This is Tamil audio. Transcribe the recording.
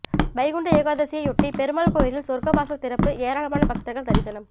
வைகுண்ட ஏகாதசியையொட்டி பெருமாள் கோயிலில் சொர்க்க வாசல் திறப்பு ஏராளமான பக்தர்கள் தரிசனம்